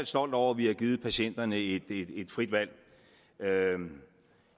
stolt over at vi har givet patienterne et frit valg